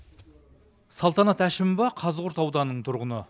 салтанат әшімова қазығұрт ауданының тұрғыны